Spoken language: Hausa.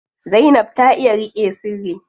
Zainab ta iya riƙe sirri.